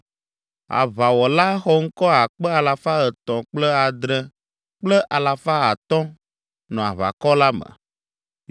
Aʋawɔla xɔŋkɔ akpe alafa etɔ̃ kple adre kple alafa atɔ̃ (307,500) nɔ aʋakɔ la me.